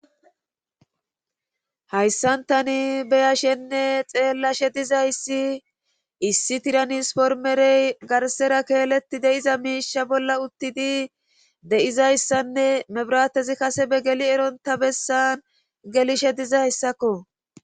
hayssan tani beya shenne xeellashe dizayssi issi tiranis pormerey garsera keeletti deiza miisha bolla uttidi de7izayssanne mebirattezi kase be geli eronta bessan gelishe dizayssakko